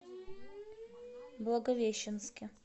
благовещенске